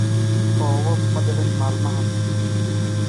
Roobab ma dicin maalmahan